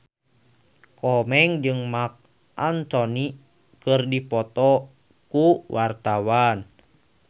Komeng jeung Marc Anthony keur dipoto ku wartawan